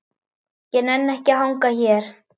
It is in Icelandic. Ég nenni ekki að hanga hér.